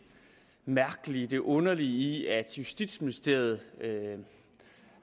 mærkelige det underlige i at justitsministeriet